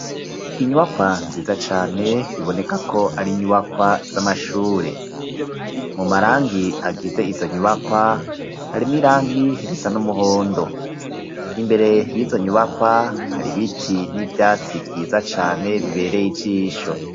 inyubakwa nziza cane biboneka ko ari nyubakwa z'amashure. Mu marangi agize izo nyubakwa, harimwo irangi risa n'umuhondo, imbere y'izo nyubakwa hari biti n'ivyatsi vyiza cane bibereye ijisho.